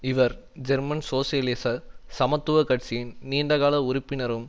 இவர் ஜெர்மன் சோசியலிச சமத்துவ கட்சியின் நீண்டகால உறுப்பினரும்